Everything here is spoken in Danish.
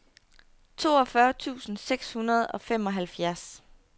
toogfyrre tusind seks hundrede og femoghalvfjerds